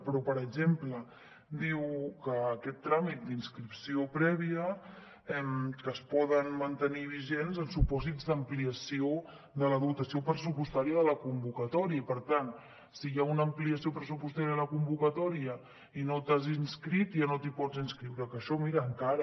però per exemple diu que aquest tràmit d’inscripció prèvia es pot mantenir vigent en supòsits d’ampliació de la dotació pressupostària de la convocatòria i per tant si hi ha una ampliació pressupostària de la convocatòria i no t’has inscrit ja no t’hi pots inscriure que això mira encara